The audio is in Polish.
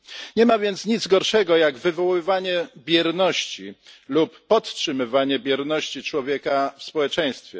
Nie ma więc nic gorszego jak wywoływanie bierności lub podtrzymywanie bierności człowieka w społeczeństwie.